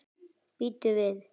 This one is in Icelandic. Bíddu við.